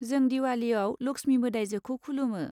जों दिवालीयाव लक्ष्मी मोदाइजोखौ खुलुमो।